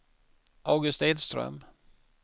August Edström